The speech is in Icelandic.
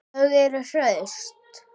Þau eru hraust